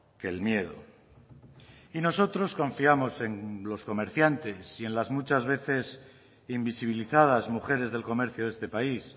que el miedo y nosotros confiamos en los comerciantes y en las muchas veces invisibilizadas mujeres del comercio de este país